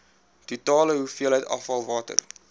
totale hoeveelheid afvalwater